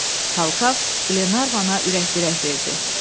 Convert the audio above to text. Talkav Glenarvana ürək-dirək verdi.